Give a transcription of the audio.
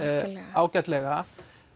ágætlega